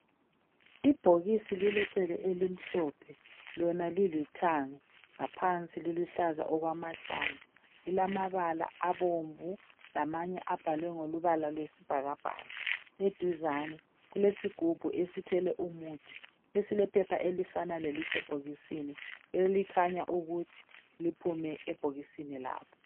Ibhokisi lilecele elimhlophe, lona lilithanga. Ngaphansi liluhlaza okwamahlamvu. Lilamabala abomvu lamanye abhalwe ngombala wesibhakabhaka. Eduze kulesigubhu esithwele umuthi esilephepha elifana lelisebhokisini elikhanya ukuthi liphume ebhokisini lapho.